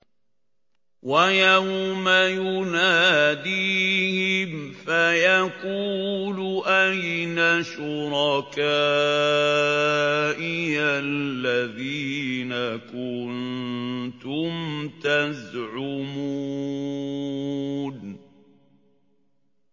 وَيَوْمَ يُنَادِيهِمْ فَيَقُولُ أَيْنَ شُرَكَائِيَ الَّذِينَ كُنتُمْ تَزْعُمُونَ